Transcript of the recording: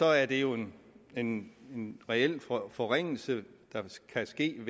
er det jo en en reel forringelse der kan ske